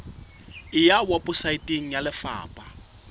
e ya weposaeteng ya lefapha